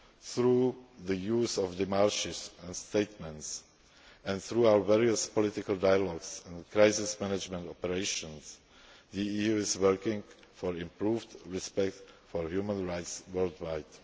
policy. Through the use of démarches and statements, and through our various political dialogues and crisis management operations, the EU is working for improved respect for human rights